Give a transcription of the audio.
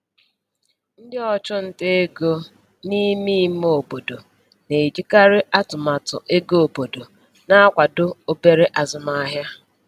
Ndị ọchụnta ego n’ime ime obodo na-ejikarị atụmatụ ego obodo na-akwado obere azụmahịa.